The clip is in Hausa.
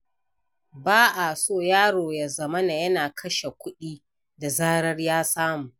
Ba a so yaro ya zamana yana kashe kuɗi da zarar ya samu.